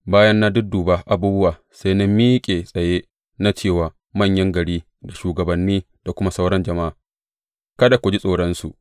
Bayan na dudduba abubuwa, sai na miƙe tsaye na ce wa manyan gari da shugabanni da kuma sauran jama’a, Kada ku ji tsoronsu.